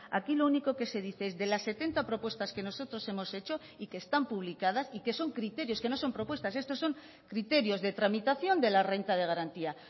aquí lo único que se dice es de las setenta propuestas que nosotros hemos hecho y que están publicadas y que son criterios que no son propuestas estos son criterios de tramitación de la renta de garantía